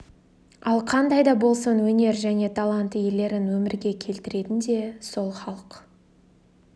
ал қандай да болсын өнер және талант иелерін өмірге келтіретін де сол халық